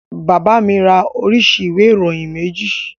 Bàbá mi ra oríṣi ìwé ìròyìn méjì